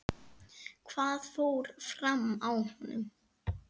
Hvað fór fram á honum?